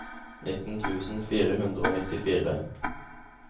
nitten tusen fire hundre og nittifire